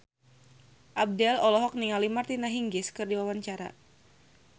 Abdel olohok ningali Martina Hingis keur diwawancara